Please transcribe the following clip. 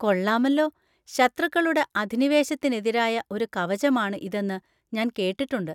കൊള്ളാമല്ലോ. ശത്രുക്കളുടെ അധിനിവേശത്തിനെതിരായ ഒരു കവചമാണ് ഇതെന്ന് ഞാൻ കേട്ടിട്ടുണ്ട്.